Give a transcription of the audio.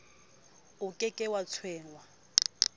o ke ke wa tshwengwa